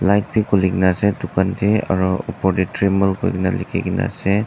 light bi khuli kena ase dukan te aru opor te dremel koikena likhikena ase.